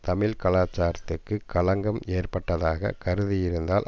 தமிழ் கலாச்சாரத்துக்கு களங்கம் ஏற்பட்டதாக கருதியிருந்தால்